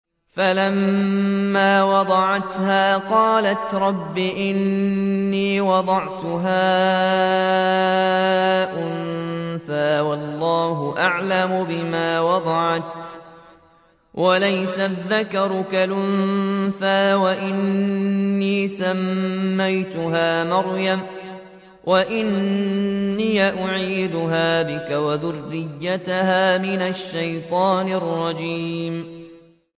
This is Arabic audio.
فَلَمَّا وَضَعَتْهَا قَالَتْ رَبِّ إِنِّي وَضَعْتُهَا أُنثَىٰ وَاللَّهُ أَعْلَمُ بِمَا وَضَعَتْ وَلَيْسَ الذَّكَرُ كَالْأُنثَىٰ ۖ وَإِنِّي سَمَّيْتُهَا مَرْيَمَ وَإِنِّي أُعِيذُهَا بِكَ وَذُرِّيَّتَهَا مِنَ الشَّيْطَانِ الرَّجِيمِ